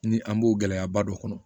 Ni an b'o gɛlɛyaba dɔ kɔnɔ